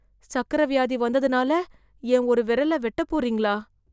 சக்கர வியாதி வந்ததுனால என் ஒரு விரல வெட்டப் போறீங்களா